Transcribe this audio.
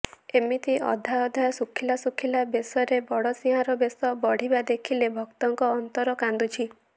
ଏମିତି ଅଧା ଅଧା ଶୁଖିଲା ଶୁଖିଲା ବେଶରେ ବଡ଼ସିଂହାର ବେଶ ବଢିବା ଦେଖିଲେ ଭକ୍ତଙ୍କ ଅନ୍ତର କାନ୍ଦୁଛି